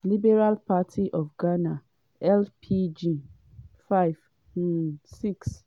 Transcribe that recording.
liberal party of ghana (lpg) - 5 um 6.